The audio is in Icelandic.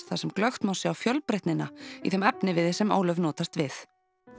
þar sem glöggt má sjá fjölbreytnina í þeim efniviði sem Ólöf notast við